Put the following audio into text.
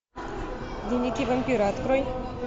дневники вампира открой